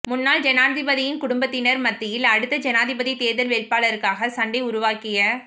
முன்னாள் ஜனாதிபதியின் குடும்பத்தினர் மத்தியில் அடுத்த ஜனாதிபதி தேர்தல் வேட்பாளருக்காக சண்டை உருவாகிய